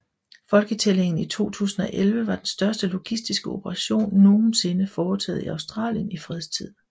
Folketællingen i 2011 var den største logistiske operation nogensinde foretaget i Australien i fredstid